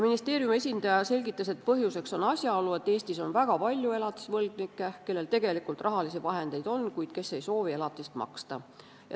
Ministeeriumi esindaja selgitas, et põhjuseks on asjaolu, et Eestis on väga palju elatisvõlgnikke, kellel tegelikult rahalisi vahendeid on, kuid kes ei soovi elatist maksta.